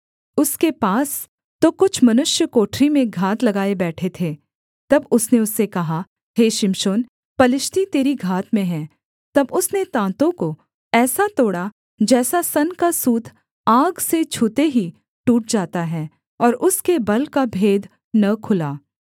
उसके पास तो कुछ मनुष्य कोठरी में घात लगाए बैठे थे तब उसने उससे कहा हे शिमशोन पलिश्ती तेरी घात में हैं तब उसने ताँतों को ऐसा तोड़ा जैसा सन का सूत आग से छूते ही टूट जाता है और उसके बल का भेद न खुला